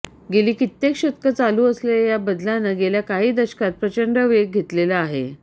गेली कित्येक शतकं चालू असलेल्या या बदलानं गेल्या काही दशकांत प्रचंड वेग घेतलेला आहे